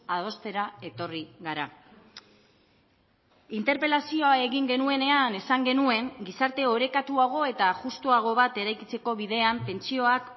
adostera etorri gara interpelazioa egin genuenean esan genuen gizarte orekatuago eta justuago bat eraikitzeko bidean pentsioak